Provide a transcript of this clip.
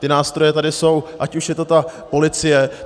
Ty nástroje tady jsou, ať už je to ta policie.